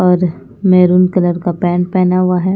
और maroon colour का pant पहना हुआ है।